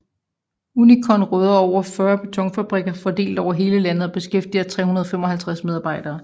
Unicon råder over 40 betonfabrikker fordelt over hele landet og beskæftiger 355 medarbejdere